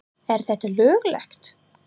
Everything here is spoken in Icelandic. Er þetta löglegt??!!